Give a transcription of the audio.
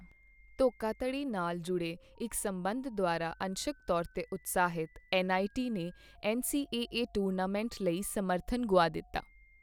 ਧੋਖਾਧੜੀ ਨਾਲ ਜੁੜੇ ਇੱਕ ਸਬੰਧ ਦੁਆਰਾ ਅੰਸ਼ਕ ਤੌਰ ਤੇ ਉਤਸ਼ਾਹਿਤ, ਐੱਨਆਈਟੀ ਨੇ ਐੱਨਸੀਏਏ ਟੂਰਨਾਮੈਂਟ ਲਈ ਸਮਰਥਨ ਗੁਆ ਦਿੱਤਾ।